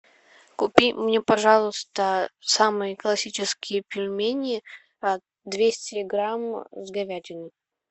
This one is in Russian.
купи мне пожалуйста самые классические пельмени двести грамм с говядиной